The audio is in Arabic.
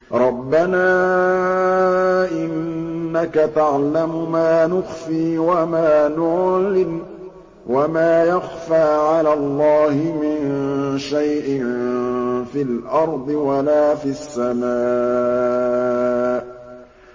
رَبَّنَا إِنَّكَ تَعْلَمُ مَا نُخْفِي وَمَا نُعْلِنُ ۗ وَمَا يَخْفَىٰ عَلَى اللَّهِ مِن شَيْءٍ فِي الْأَرْضِ وَلَا فِي السَّمَاءِ